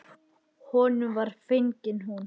Honum var fengin hún.